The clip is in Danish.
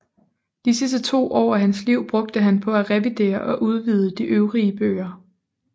De sidste to år af sit liv brugte han på at revidere og udvide de øvrige bøger